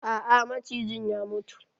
A'a macijin ya mutu.